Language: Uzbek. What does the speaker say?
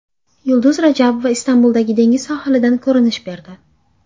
Yulduz Rajabova Istanbuldagi dengiz sohilidan ko‘rinish berdi.